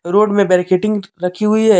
Road मे barricading राखी हुई है।